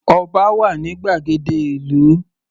Ọba wà ní gbàgede ìlú.